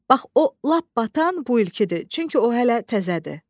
Bax o lap batan bu ilkidir, çünki o hələ təzədir.